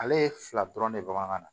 Ale ye fila dɔrɔn de bɔ an ka na